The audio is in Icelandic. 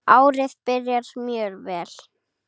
Árið byrjar mjög vel.